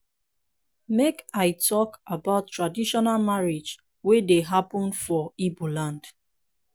make i tok about traditional marriage wey dey hapun for igboland